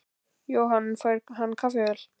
Jóhann: Fær hann kaffivél?